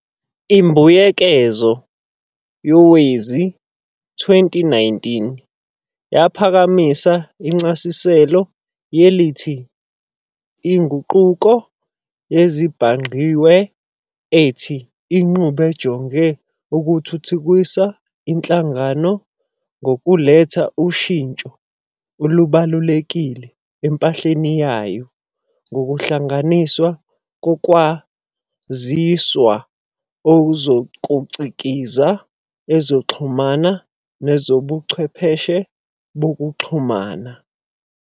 Imbuyekezo yowezi-2019 yaphakamisa incasiselo yelithi inguquko yezezibhangqiwe ethi "inqubo ejonge ukuthuthukisa inhlangano ngokuletha ushintsho olubalulekile empahleni yayo ngokuhlanganiswa kokwaziswa, ezokucikiza, ezokuxhumana nezobuchwepheshe bokuxhumana."